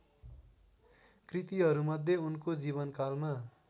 कृतिहरूमध्ये उनको जीवनकालमा